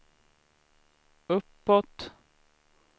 uppåt